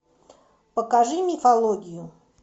покажи мифологию